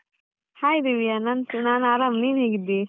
Hai Divya ನಾನ್ ನಾನ್ ಆರಾಮ್, ನೀನ್ ಹೇಗಿದ್ದೀ?